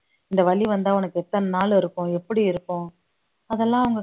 இந்த வலி வந்தா உனக்கு எத்தன நாள் இருக்கும் எப்படி இருக்கும் அதெல்லாம்